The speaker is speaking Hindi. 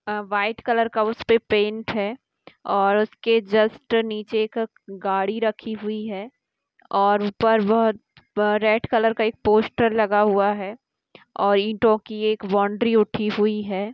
अ व्हाइट कलर का उसपे पैंट है और उसके जस्ट नीचे एक गाड़ी रखी हुई है और ऊपर बहुत रेड कलर का एक पोस्टर लगा हुआ है और ईटों की एक बाउंड्री उठी हुई है।